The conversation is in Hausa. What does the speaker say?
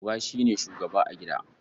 Uba shi ne shugaba a gida.